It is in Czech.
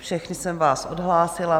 Všechny jsem vás odhlásila.